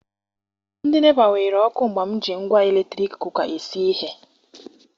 Ndị NEPA were ọkụ mgbe m ji ngwá eletrik Kuka esi ihe.